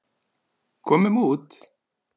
Komum út.